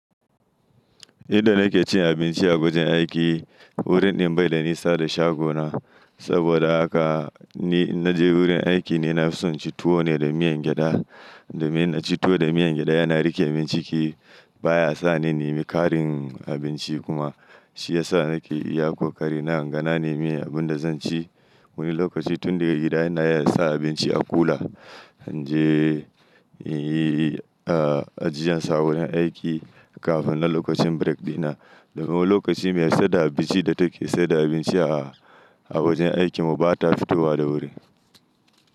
Inda nake cin abinci a wajen aiki, wurin ɗin bai da nisa da shagona. Saboda haka ni in naje wurin aiki, ni na fi son inci tuwo ne da miyan gyaɗa. Domin in naci tuwo da miyan gyaɗa yana riƙe min ciki. Ba ya sa ni nemi ƙarin abinci kuma shi ya sa nake iya ƙoƙarin. Na ganane abin da zan ci wani lokaci tun daga gida. Ina yawan sa abinci a kula, in je in yi, ah, ajiyarsa wurin aiki kafin na lokacin break ɗina. Domin lokaci mai saida abinci da take saida abinci a wajen aikinmu ba ta fitowa da wuri.